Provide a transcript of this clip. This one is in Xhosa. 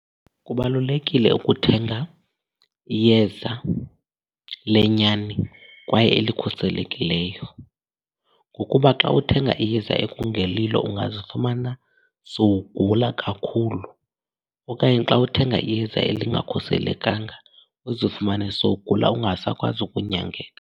Kubalulekile ukuthenga iyeza lenyani kwaye elikhuselekileyo ngokuba xa uthenga iyeza ekungelilo ungazifumana sowugula kakhulu. Okanye xa uthenga iyeza elingakhuselekanga uzifumane sowugula ungasakwazi ukunyangeka.